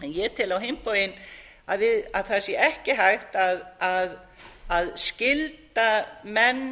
ég tel á hinn bóginn að það sé ekki hægt að skylda menn